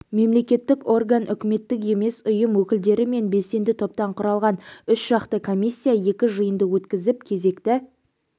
мемлекеттік орган үкіметтік емес ұйым өкілдері мен белсенді топтан құралған үшжақты комиссия екі жиынды өткізіп кезекті